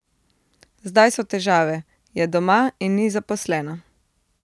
Zdaj so težave, je doma in ni zaposlena.